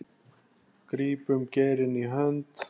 grípum geirinn í hönd